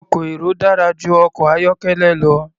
Ọkọ̀ èrò dára jù ọkọ̀ ayọ́kẹ́lẹ́ lọ.